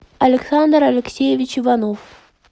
александр алексеевич иванов